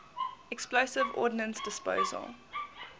explosive ordnance disposal